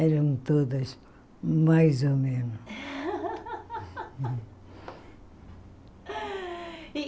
Eram todas, mais ou menos.